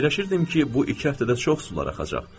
Fikirləşirdim ki, bu iki həftədə çox sular axacaq.